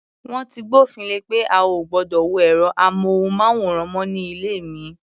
Wọ́n ti gbófin le pé a ò gbọdọ̀ wo ẹ̀rọ-amóhùnmáwòrán mọ́ ní ilé mi.